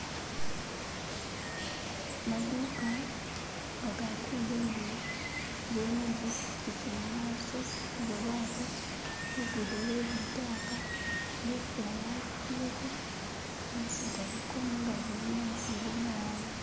Maduuka gagatunda imbewo iliwo ni zipichipichi mumaso ni babaatu lugudo lwelitaka nga ifula yakubileko meezi galiko mungagi mulimo namufeli umuwanga.